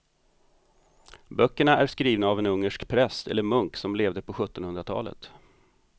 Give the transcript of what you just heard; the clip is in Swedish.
Böckerna är skrivna av en ungersk präst eller munk som levde på sjuttonhundratalet.